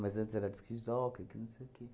Mas antes era disc-jóquei, que não sei o quê.